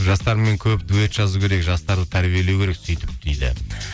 жастармен көп дуэт жазу керек жастарды тәрбиелеу керек сөйтіп дейді